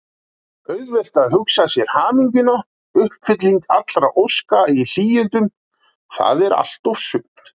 Auðvelt að hugsa sér hamingjuna: uppfylling allra óska í hlýindum, það er allt og sumt!